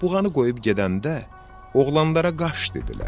Buğanı qoyub gedəndə oğlanlara qaç dedilər.